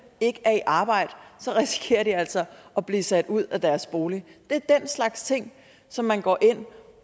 ikke er i arbejde så risikerer de altså at blive sat ud af deres bolig det er den slags ting som man går ind